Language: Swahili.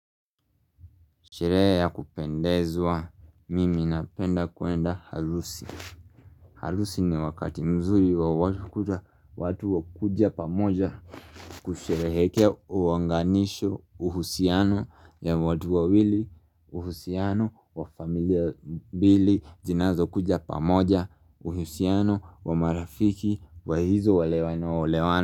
Sherehe ya kupendezwa mimi na penda kuenda harusi harusi ni wakati mzuri wa watu watu kuja pamoja kushereheka uunganisho uhusiano ya watu wawili uhusiano wa familia mbili zinazo kuja pamoja uhusiano wa marafiki wa hizo walewano olewano.